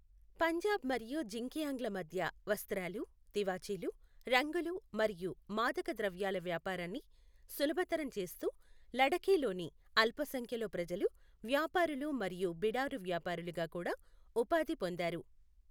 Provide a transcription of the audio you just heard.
పంజాబ్ మరియు జిన్జియాంగ్ల మధ్య వస్త్రాలు, తివాచీలు, రంగులు మరియు మాదక ద్రవ్యాల వ్యాపారాన్ని సులభతరం చేస్తూ, లడఖీలోని అల్పసంఖ్యలో ప్రజలు వ్యాపారులు మరియు బిడారు వ్యాపారులుగా కూడా ఉపాధి పొందారు.